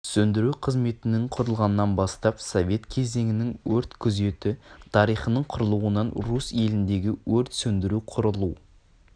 сөндіру қызметінің құрылғанынан бастап совет кезеңінің өрт күзеті тарихының құрылуынан русь еліндеге өрт сөндіру құрылу